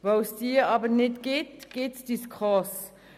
Mangels einer solchen gibt es die SKOS.